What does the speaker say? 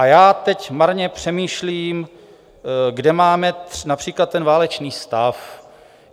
A já teď marně přemýšlím, kde máme například ten válečný stav.